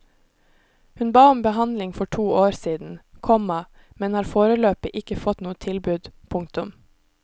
Hun ba om behandling for to år siden, komma men har foreløpig ikke fått noe tilbud. punktum